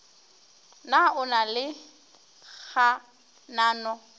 na o na le kganano